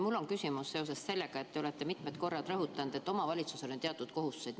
Mul on küsimus seoses sellega, et olete mitmel korral rõhutanud, et kohalikul omavalitsusel on teatud kohustused.